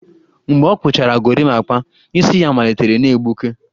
Mgbe ọ kpụchara gorimapa, isi ya malitere na-egbuke